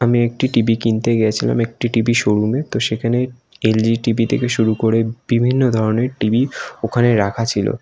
আমি একটি টিভি কিনতে গেছিলাম একটি টিভি শো -রুমে । সেখানে এলজি টিভি থেকে শুরু করে বিভিন্ন ধরনের টিভি ওখানে রাখা ছিল।